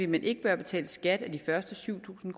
man ikke bør betale skat af de første syv tusind